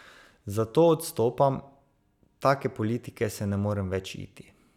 Zato odstopam, take politike se ne morem več iti.